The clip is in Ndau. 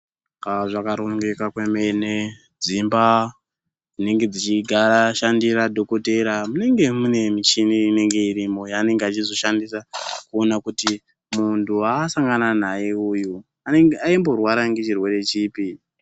Haa zvakarongeka kwemene dzimba dzinenge dzichigara ashandira dhokodheya munenge mune michini inenge irimo yaanenge achizoshandisa kuona kuti muntu waasangana naye uyu aimborwara ngechirwere chipi.